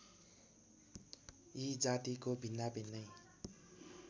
यी जातिको भिन्नाभिन्नै